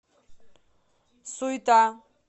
суйта